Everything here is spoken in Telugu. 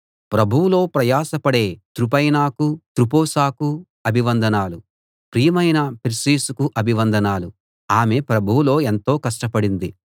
ప్రభువులో ప్రయాసపడే త్రుపైనాకు త్రుఫోసాకు అభివందనాలు ప్రియమైన పెర్సిసుకు అభివందనాలు ఆమె ప్రభువులో ఎంతో కష్టపడింది